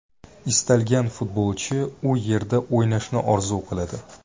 Istalgan futbolchi u yerda o‘ynashni orzu qiladi.